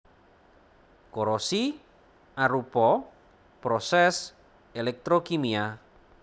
Korosi arupa prosès elektrokimia